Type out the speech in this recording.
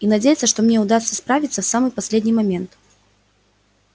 и надеяться что мне удастся справиться в самый последний момент